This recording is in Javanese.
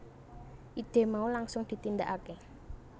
Ide mau langsung ditindakake